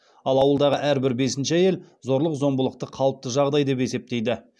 ал ауылдағы әрбір бесінші әйел зорлық зомбылықты қалыпты жағдай деп есептейді